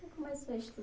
você começou a